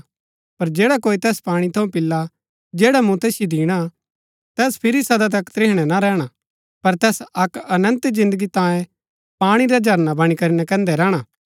पर जैडा कोई तैस पाणी थऊँ पिला जैडा मुँ तैसिओ दिणा तैस फिरी सदा तक त्रिहणै ना रैहणा पर तैस अक्क अनन्त जिन्दगी तांयें पाणी रा झरना वणी करी नकैन्दै रैहणा